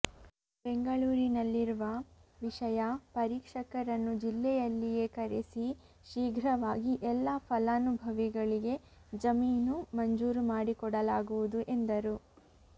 ಬೆಂಗಳೂರಿನಲ್ಲಿರುವ ವಿಷಯ ಪರೀಕ್ಷಕರನ್ನು ಜಿಲ್ಲೆಯಲ್ಲಿಯೇ ಕರೆಸಿ ಶೀಘ್ರವಾಗಿ ಎಲ್ಲ ಫಲಾನುಭವಿಗಳಿಗೆ ಜಮೀನು ಮಂಜೂರು ಮಾಡಿಕೊಡಲಾಗುವುದು ಎಂದರು